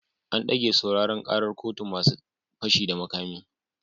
An dage sauraren karar kotun masu fashi da makami